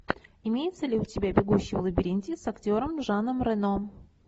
имеется ли у тебя бегущий в лабиринте с актером жаном рено